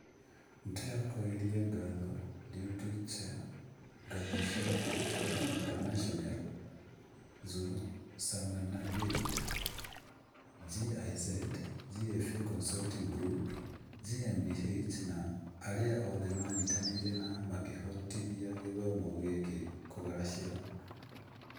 Nĩ tũcokagĩria ngatho Deutsche Gesellschaft für Internationale Zusammenarbeit (GIZ), GFA Consulting Group GmbH na arĩa othe manyitanĩire na makĩhotithia gĩthomo gĩkĩ kũgacĩra.